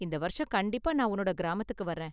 இந்த வருஷம் கண்டிப்பா நான் உன்னோட கிராமத்துக்கு வர்றேன்.